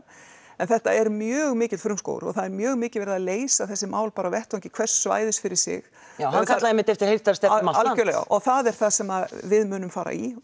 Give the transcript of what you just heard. en þetta er mjög mikill frumskógur og það er mjög mikið verið að leysa þessi mál bara á vettvangi hvers svæðis fyrir sig já hann kallaði einmitt eftir heildarstefnu um algjörlega og það er það sem við munum fara í